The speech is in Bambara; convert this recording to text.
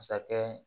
Masakɛ